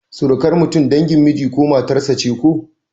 Surukar mutum dangin miji ko matar sa ce ko?